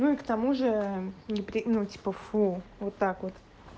к тому же ну типа фу вот так вот